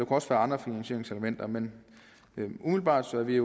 også være andre finansieringselementer men umiddelbart er vi